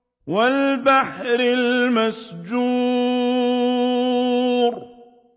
وَالْبَحْرِ الْمَسْجُورِ